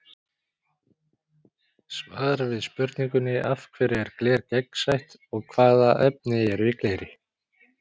Svar við spurningunni Af hverju er gler gegnsætt og hvaða efni eru í gleri?